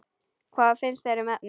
Hvað finnst þér um efnið?